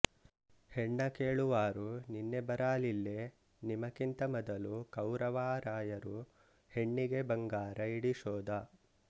ಹೆಣ್ಣ ಕೇಳುವಾರು ನಿನ್ನೆ ಬರಾಲಿಲ್ಲೆ ನಿಮಕಿಂತ ಮದಲು ಕವುರವಾರಾಯರೂ ಹೆಣ್ಣೆಗೆ ಬಂಗಾರ ಯಿಡಿಶೋದ